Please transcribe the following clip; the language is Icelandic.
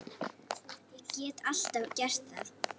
Ég get alltaf gert það.